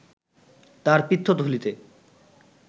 তার পিত্তথলীতে